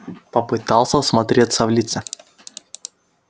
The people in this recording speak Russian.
попытался всмотреться в лица